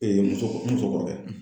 muso muso n kɔrɔkɛ.